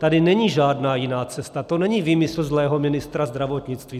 Tady není žádná jiná cesta, to není výmysl zlého ministra zdravotnictví.